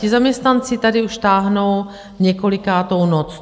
Ti zaměstnanci tady už táhnou několikátou noc.